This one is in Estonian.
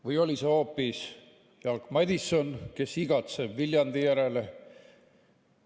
Või oli see hoopis Jaak Madison, kes igatseb Viljandi järele?